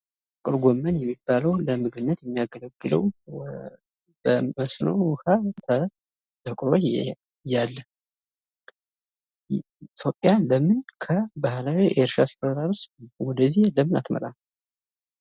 ጥቅል ጎመን የሚባለው ለምግብነት የሚያገለግለው በመስኖ ውሃ እየቆየ ያለ ኢትዮጵያ ለምን ከባህላዊ እርሻ አስተራረስ ወደዚህ ለምን አትመጣም?